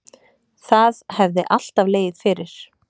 Það hefði alltaf legið fyrir